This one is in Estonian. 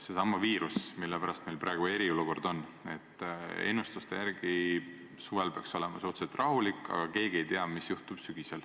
Seesama viirus, mille pärast meil praegu eriolukord on – ennustuste järgi peaks suvel olema suhteliselt rahulik, aga keegi ei tea, mis juhtub sügisel.